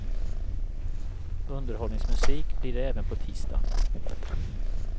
Underhållningsmusik blir det även på tisdag.